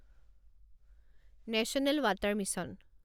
national water mission